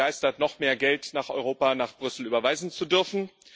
Dort ist man begeistert, noch mehr Geld nach Europa, nach Brüssel überweisen zu dürfen.